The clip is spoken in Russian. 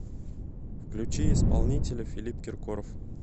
включи исполнителя филипп киркоров